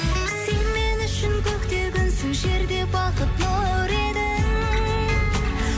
сен мен үшін көкте күнсің жерде бақыт нұр едің